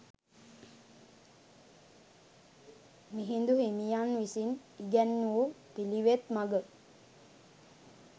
මිහිඳු හිමියන් විසින් ඉගැන් වූ පිළිවෙත් මඟ